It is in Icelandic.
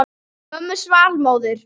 Mönnum svall móður.